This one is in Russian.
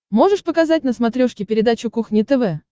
можешь показать на смотрешке передачу кухня тв